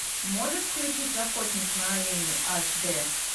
можешь включить охотник на оленей аш дэ